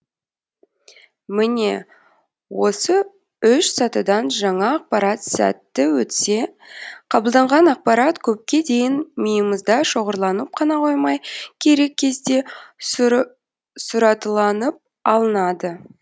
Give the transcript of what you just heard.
міне осы үш сатыдан жаңа ақпарат сәтті өтсе қабылданған ақпарат көпке дейін миымызда шоғарланып қана қоймай керек кезде сұраталанып алынады